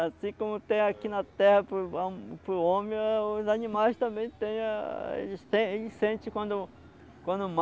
Assim como tem aqui na terra para o para o homem, os animais também têm, a eles tem eles sentem quando quando